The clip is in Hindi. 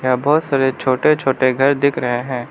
यहां बहुत सारे छोटे छोटे घर दिख रहे है।